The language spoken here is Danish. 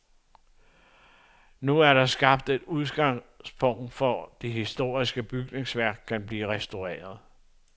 Nu er der skabt et udgangspunkt for, at det historiske bygningsværk kan blive restaureret.